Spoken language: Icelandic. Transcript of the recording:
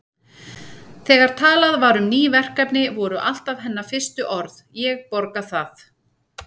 Þegar talað var um ný verkefni voru alltaf hennar fyrstu orð: Ég borga það